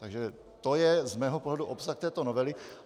Takže to je z mého pohledu obsah této novely.